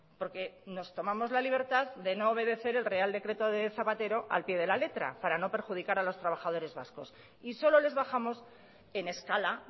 porque nos tomamos la libertad de no obedecer el real decreto de zapatero al pie de la letra para no perjudicar a los trabajadores vascos y solo les bajamos en escala